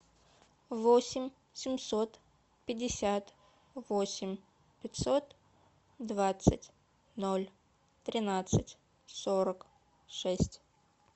восемь семьсот пятьдесят восемь пятьсот двадцать ноль тринадцать сорок шесть